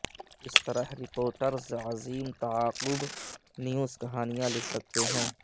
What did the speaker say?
کس طرح رپورٹرز عظیم تعاقب نیوز کہانیاں لکھ سکتے ہیں